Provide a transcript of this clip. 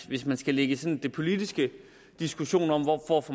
hvis man skal lægge den politiske diskussion om hvor